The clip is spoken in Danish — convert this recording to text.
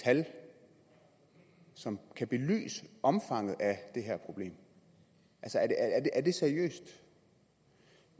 tal som kan belyse omfanget af problemet er det seriøst